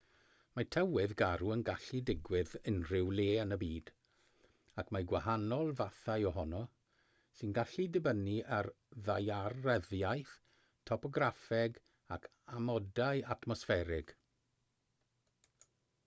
mae tywydd garw yn gallu digwydd unrhyw le yn y byd ac mae gwahanol fathau ohono sy'n gallu dibynnu ar ddaearyddiaeth topograffeg ac amodau atmosfferig